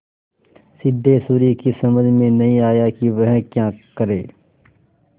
सिद्धेश्वरी की समझ में नहीं आया कि वह क्या करे